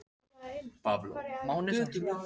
Það hætti að rigna um nóttina.